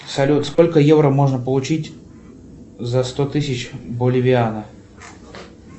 салют сколько евро можно получить за сто тысяч боливиано